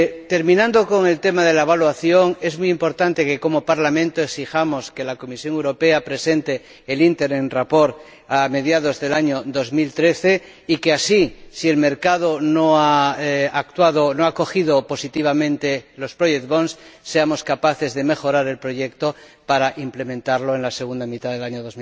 Terminando con el tema de la evaluación, es muy importante que, como Parlamento, exijamos que la Comisión Europea presente el informe provisional a mediados del año 2013 y que así, si el mercado no ha acogido positivamente los project bonds seamos capaces de mejorar el proyecto para implementarlo en la segunda mitad del año